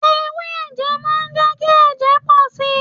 Ewé ẹ̀jẹ̀ má ń jẹ́ kí ẹ̀jẹ̀ pọ̀ si.